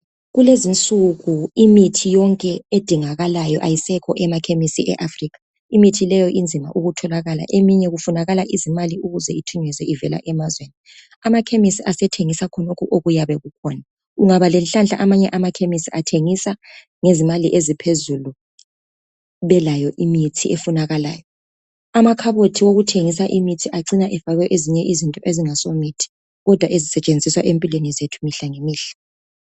Kulezinsuku imithi yonke edingakalayo ayisekho emakhemisi eAfrica. Imithi leyo inzima ukutholakala eminye kufunakala izimali ukuze ithunyezwe ivela emazweni. Amakhemisi asethengisa khonokhu okuyabe kukhona ungaba lenhlanhla manye amakhemisi atshengisa ngezimali eziphuzulu belayo imithi efunakalayo. Amakhabothi okuthengisa imithi acina efakwe ezinye izinto ezingasomithi kodwa ezisetshenziswa ezimpilweni zethu imihlangemihla.